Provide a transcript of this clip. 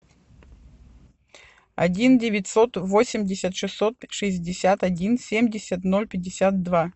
один девятьсот восемьдесят шестьсот шестьдесят один семьдесят ноль пятьдесят два